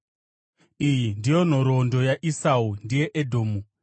Iyi ndiyo nhoroondo yaEsau (ndiye Edhomu).